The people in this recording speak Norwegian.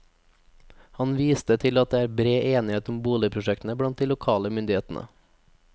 Han viste til at det er bred enighet om boligprosjektet blant de lokale myndighetene.